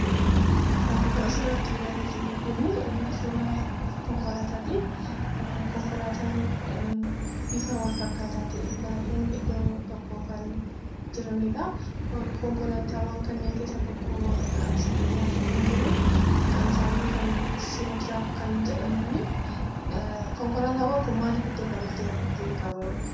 Ka asirratti ilaalaa jirru kun suuraa konkolaataadha. Konkolaataan bifa wal fakkaataa ta'e baay'een iddoo tokko kan jiranidha. Konkolaataawwan kanneen keessaa tokko asirratti dhiyaatanii jiran maqaan isaanii siinootiraak kan jedhamanidha. Konkolaataawwan kun maaliif asitti walitti qabaman?